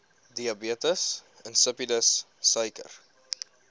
diabetes insipidus suiker